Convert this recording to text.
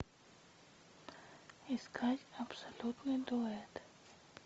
искать абсолютный дуэт